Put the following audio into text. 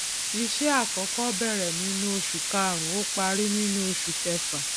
iṣẹ àkọkọ bẹrẹ nínú oṣù kàrúnún ó parí nínú oṣù kẹfà